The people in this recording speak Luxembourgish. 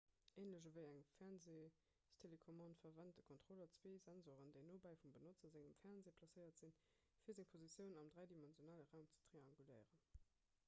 änlech ewéi eng fernseestelecommande verwent de kontroller zwee sensoren déi nobäi vum benotzer sengem fernseh placéiert sinn fir seng positioun am dräidimensionale raum ze trianguléieren